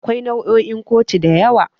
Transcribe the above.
Akwai nau'o'in kotu da yawa.